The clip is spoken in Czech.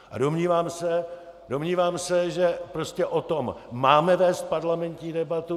A domnívám se, že prostě o tom máme vést parlamentní debatu.